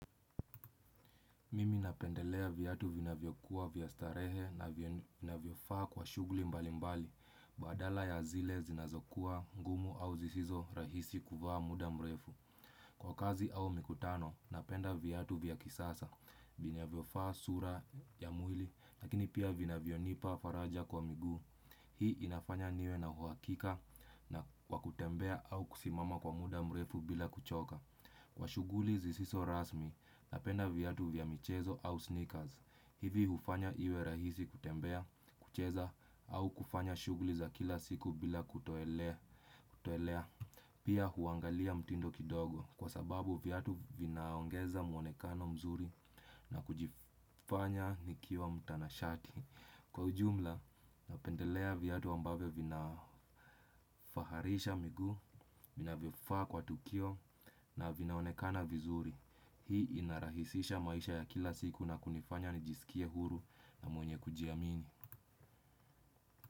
Mimi napendelea viatu vina vyokuwa vya starehe na vina vyofaa kwa shuguli mbali mbali, badala ya zile zinazokua ngumu au zisizo rahisi kuvaa muda mrefu. Kwa kazi au mikutano, napenda viatu vya kisasa, vina vyofaa sura ya mwili, lakini pia vina vyonipa faraja kwa migu. Hii inafanya niwe na huakika na wakutembea au kusimama kwa muda mrefu bila kuchoka. Kwa shuguli zisiso rasmi, napenda viatu vya michezo au sneakers. Hivi hufanya iwe rahisi kutembea, kucheza au kufanya shuguli za kila siku bila kutoelea. Pia huangalia mtindo kidogo kwa sababu viatu vinaongeza muonekano mzuri na kujifanya nikiwa mtanashati. Kwa ujumla napendelea viatu ambavyo vina vinafaharisha migu vina vyofa kwa tukio na vinaonekana vizuri. Hii inarahisisha maisha ya kila siku na kunifanya nijisikie huru na mwenye kujiamini.